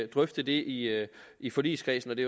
drøfte det i i forligskredsen det